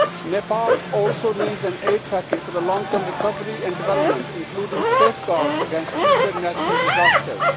Nepal also needs an aid package for long term recovery and development, including safeguards against future natural disasters.